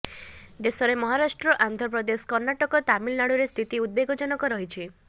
ଦେଶରେ ମହାରାଷ୍ଟ୍ର ଆନ୍ଧ୍ରପ୍ରଦେଶ କର୍ଣ୍ଣାଟକ ତାମିଲନାଡୁରେ ସ୍ଥିତି ଉଦବେଗଜନକ ରହିଛି